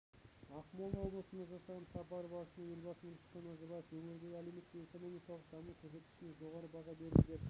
ақмола облысына жасаған сапары барысында елбасы нұрсұлтан назарбаев өңірдің әлеуметтік-экономикалық даму көрсеткішіне жоғары баға берді деп